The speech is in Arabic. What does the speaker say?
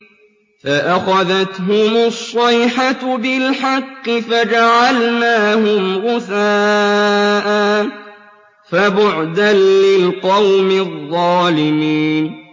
فَأَخَذَتْهُمُ الصَّيْحَةُ بِالْحَقِّ فَجَعَلْنَاهُمْ غُثَاءً ۚ فَبُعْدًا لِّلْقَوْمِ الظَّالِمِينَ